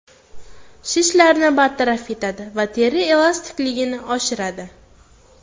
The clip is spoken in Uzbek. Shishlarni bartaraf etadi va teri elastikligini oshiradi.